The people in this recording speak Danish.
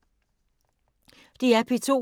DR P2